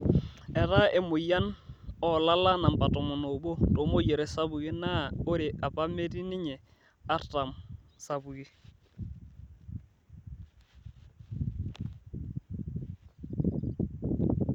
Etaa emoyian oolala namba tomon oobo too moyiaritin sapuki naa ore apa metii ninye artam sapuki.